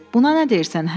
Buna nə deyirsən, hə?